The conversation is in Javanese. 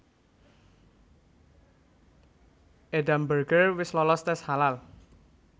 Edam Burger wis lolos tes halal